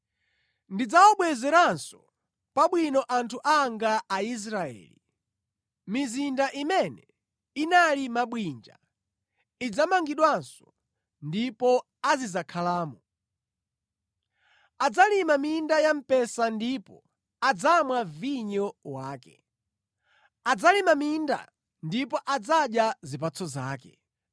Ndidzawabwezeranso pabwino anthu anga Aisraeli; mizinda imene inali mabwinja idzamangidwanso ndipo azidzakhalamo. Adzalima minda ya mpesa ndipo adzamwa vinyo wake; adzalima minda ndipo adzadya zipatso zake.